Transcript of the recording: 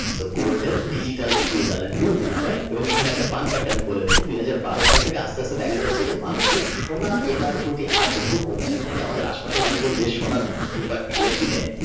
তো Gold's Digital Equine Talent হলো bitcoin এবং এখানে একটা এখানে একটা প্যান্ট আমি বলে রাখি দুইহাজার বারো সাল থেকে আস্তে আস্তে দেখা যাচ্ছে যে মানুষের সোনা কেনার প্রতি আগ্রহ কমছে আমি জানি আমাদের আশেপাশে মানুষজন বেশ সোনার রুপার এগুলা কিনে।